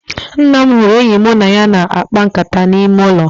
Nna m hụrụ enyi mụ na ya na-akpa nkata n'ime ụlọ